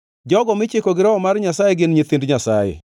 Jogo michiko gi Roho mar Nyasaye gin nyithind Nyasaye.